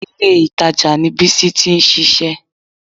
Ìlé-ìtajà ni Bísí ti ń ṣiṣẹ́